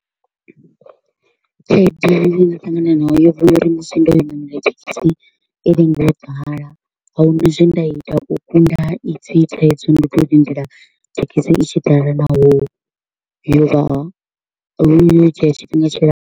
Khaedu ye nda ṱangana nayo yo vha ya uri musi ndo yo namela thekhisi i lenga u ḓala. Ahuna zwe nda ita u kunda ha ipfi thaidzo, ndo to u lindela thekhisi i tshi ḓala naho yo vha yo dzhia tshifhinga tshilapfu.